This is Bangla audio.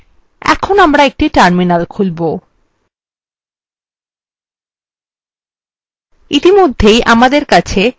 এখন আমরা একটি terminal খুলবো